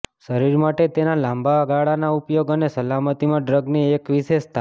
શરીર માટે તેના લાંબા ગાળાના ઉપયોગ અને સલામતીમાં ડ્રગની એક વિશેષતા